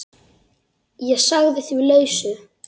Ég sagði því lausu.